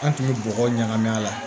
An tun bɛ bɔgɔ ɲagami a la